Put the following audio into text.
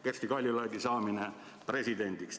See Kersti Kaljulaidi saamine presidendiks.